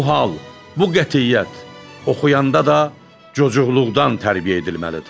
Bu hal, bu qətiyyət oxuyanda da çocuqluqdan tərbiyə edilməlidir.